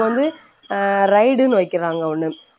வந்து அஹ் ride னு வைக்கறாங்க ஒண்ணு